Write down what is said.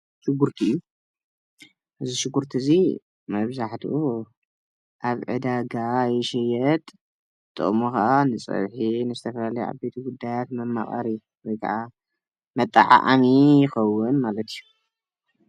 ሽጉርቲ እዩ፡- እዚ ሽጉርቲ እዚ መብዛሕትኡ ኣብ ዕዳጋ ይሽየጥ፡፡ ጥቅሙ ከዓ ንፀብሒንዝተፈላለዩ ዓብይቲ ጉዳያት መማቀሪ ወይ ከዓ መጠዓዓሚ ይከውን ማለት እዩ፡፡